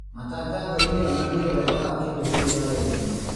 Matangatho-inĩ onanie wega wa kĩndũ kĩu arendia